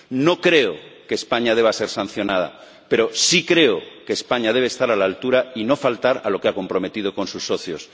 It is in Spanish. No creo que España deba ser sancionada, pero sí creo que España debe estar a la altura y no faltar a lo que se ha comprometido con sus socios.